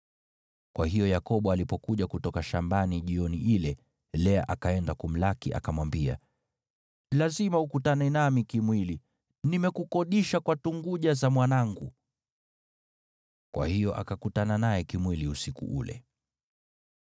Kwa hiyo Yakobo alipokuja kutoka shambani jioni ile, Lea akaenda kumlaki, akamwambia, “Lazima ukutane nami kimwili. Nimekukodisha kwa tunguja za mwanangu.” Kwa hiyo akakutana naye kimwili usiku ule.